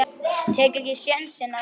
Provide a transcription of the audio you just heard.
Tek ekki sénsinn á næstu.